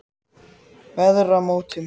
Veðramótum